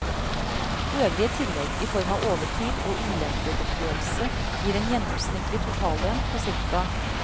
Øvrige tillegg i form av overtid og ulempegodtgjørelse gir en gjennomsnittlig totallønn på ca.